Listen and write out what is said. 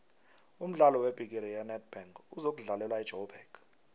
umdlalo webhigiri yenedbank uzokudlalelwa ejoburg